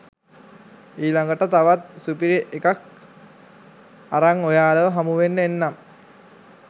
ඊලඟට තවත් සුපිරිඑකක් අරන් ඔයාලව හමුවෙන්න එන්නම්